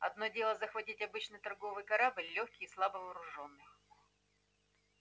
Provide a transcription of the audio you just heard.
одно дело захватить обычный торговый корабль лёгкий и слабо вооружённый